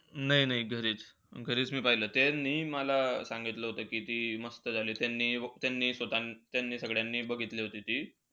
नाई-नाई घरीचं. घरीचं मी पाहिलं. त्यांनी मला सांगितलं होत की, ती मस्त झाली होती त्यांनी~ त्यांनी सगळ्यांनी बघितली होती ती.